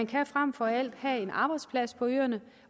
kan fremfor alt have en arbejdsplads på øerne